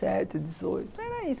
dezoito, era isso.